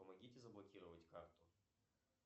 помогите заблокировать карту